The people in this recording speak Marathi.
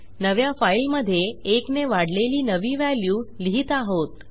नव्या फाईलमधे 1 ने वाढलेली नवी व्हॅल्यू लिहित आहोत